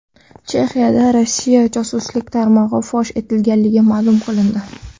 Chexiyada Rossiya josuslik tarmog‘i fosh etilgani ma’lum qilindi.